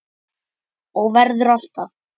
Og verður alltaf.